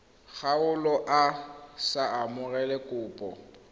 kgaolo a sa amogele kopo